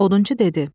Odunçu dedi: